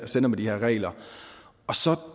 sender med de her regler så